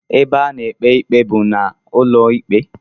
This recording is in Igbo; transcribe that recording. Ebe a na-ekpe ikpe bụ n'ụlọikpe